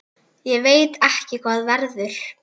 Ég veit ekki hvað verður.